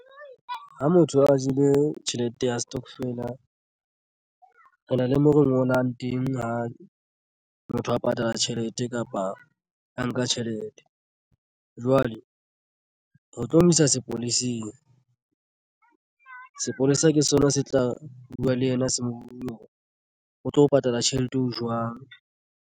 Ha motho a jele tjhelete ya stokvela re na le mo re ngolang teng ha motho a patala tjhelete kapa a nka tjhelete jwale ho tlo mo isa sepoleseng. Sepolesa ke sona se tla buwa le yena se mobung o tlo patala tjhelete eo jwang.